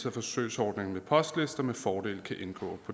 at forsøgsordningen med postlister med fordel kan indgå